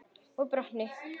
Og brotni.